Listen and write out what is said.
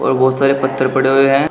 और बहुत सारे पत्थर पड़े हुए हैं।